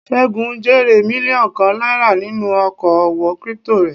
Segun jèrè mílíọ̀nù kan náírà nínú oko òwò crypto rẹ̀.